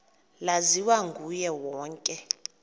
laziwa nguye wonke